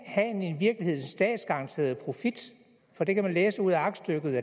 i statsgaranteret profit for det kan man læse ud af aktstykket